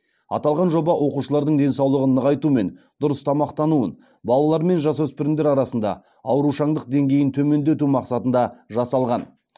аталған жоба оқушылардың денсаулығын нығайту мен дұрыс тамақтануын балалар мен жасөспірімдер арасында аурушаңдық деңгейін төмендету мақсатында жасалған